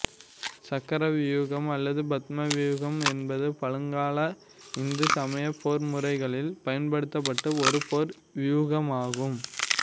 சக்கர வியூகம் அல்லது பத்ம வியூகம் என்பது பழங்கால இந்து சமய போர்முறைகளில் பயன்படுத்தப்பட்ட ஒரு போர் வியூகமாகும்